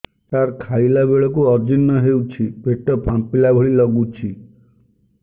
ସାର ଖାଇଲା ବେଳକୁ ଅଜିର୍ଣ ହେଉଛି ପେଟ ଫାମ୍ପିଲା ଭଳି ଲଗୁଛି